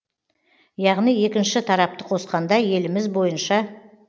яғни екінші тарапты қосқанда еліміз бойынша